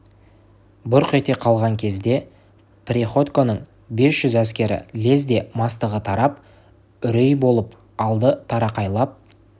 бұрқ ете қалған кезде приходьконың бес жүз әскері лезде мастығы тарап үрей болып алды тырақайлап